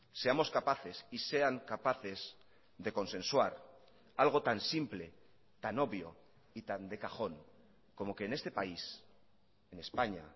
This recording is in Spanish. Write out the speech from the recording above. seamos capaces y sean capaces de consensuar algo tan simple tan obvio y tan de cajón como que en este país en españa